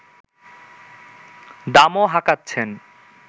দামও হাঁকাচ্ছেন